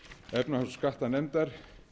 efnahags og skattanefndar